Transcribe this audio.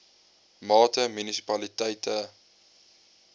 mate munisipaliteite a